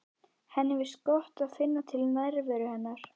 Henni finnst gott að finna til nærveru hennar.